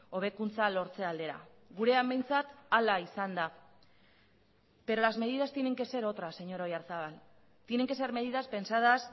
hobekuntza lortze aldera gurean behintzat hala izan da pero las medidas tienen que ser otras señor oyarzabal tienen que ser medidas pensadas